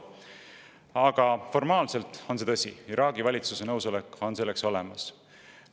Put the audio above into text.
Aga formaalselt on see tõsi, Iraagi valitsuse nõusolek on selleks olemas.